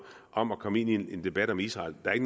om at komme ind i en debat om israel der